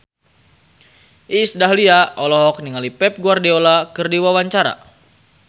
Iis Dahlia olohok ningali Pep Guardiola keur diwawancara